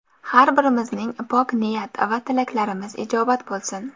Har birimizning pok niyat va tilaklarimiz ijobat bo‘lsin!